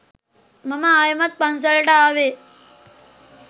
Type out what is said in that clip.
මම ආයෙමත් පන්සලට ආවෙ